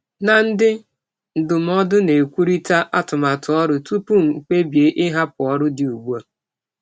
Ana m na ndị ndụmọdụ kparịta atụmatụ ọrụ kparịta atụmatụ ọrụ tupu m ekpebie ịhapụ ọrụ ugbu a.